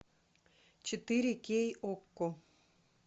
четыре кей окко